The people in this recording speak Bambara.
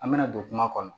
An bɛna don kuma kɔnɔ